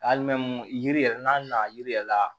Ali yiri yɛrɛ n'a na yiri yɛrɛ la